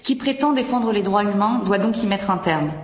Qui prétend défendre les droits humains doit donc y mettre un terme.